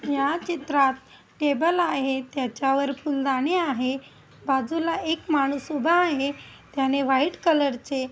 या चित्रात टेबल आहे त्याच्यावर फुलदांनी आहे बाजूला एक माणूस उभा आहे त्याने व्हाइट कलर चे--